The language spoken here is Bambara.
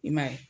I m'a ye